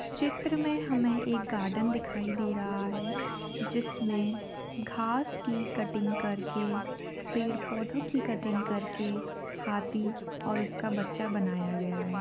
इस चित्र मे हमे एक गार्डन दिखाई दे रहा है जिसमे घास की कटिंग करके पेड़ -पौधे की कटिंग करके हाथी और उसका बच्चा बनाया गया है।